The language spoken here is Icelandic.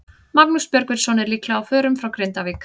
Magnús Björgvinsson er líklega á förum frá Grindavík.